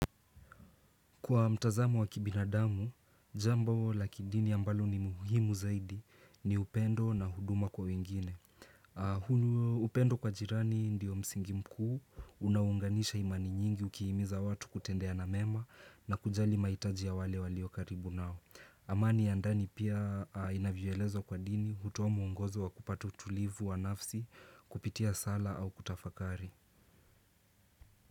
Kwa mtazamo wa kibinadamu, jamba la kidini ambalo ni muhimu zaidi ni upendo na huduma kwa wengine. Upendo kwa jirani ndio msingi mkuu, unaunganisha imani nyingi ukihimiza watu kutendeana mema na kujali mahitaji ya wale walio karibu nao. Amani ya ndani pia inavyoeleza kwa dini, hutoa muungozo wa kupata utulivu wa nafsi, kupitia sala au kutafakari.